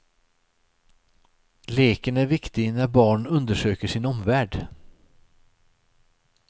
Leken är viktig när barn undersöker sin omvärld.